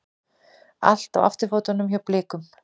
Allt á afturfótunum hjá Blikum